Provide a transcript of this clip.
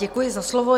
Děkuji za slovo.